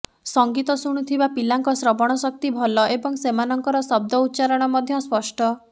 ସଙ୍ଗୀତ ଶୁଣୁ ଥିବା ପିଲାଙ୍କ ଶ୍ରବଣ ଶକ୍ତି ଭଲ ଏବଂ ସେମାନଙ୍କର ଶବ୍ଦ ଉଚ୍ଚାରଣ ମଧ୍ୟ ସ୍ପଷ୍ଟ